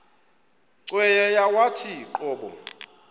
cweya yawathi qobo